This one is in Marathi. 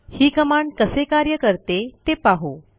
ही कमांड कसे कार्य करते ते पाहू